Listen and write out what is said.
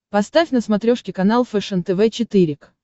поставь на смотрешке канал фэшен тв четыре к